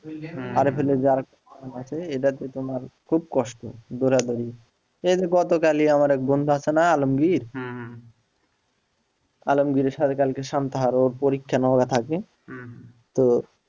হম RFL এ যা আছে এটা তো তোমার খুব কষ্ট দৌড়াদৌড়ি এই যে গতকালই আমার এক বন্ধু আছে না আলমগীর আলমগীরের সাথে কালকে সান্তাহার ওর পরীক্ষা নওগাঁ থাকে তো,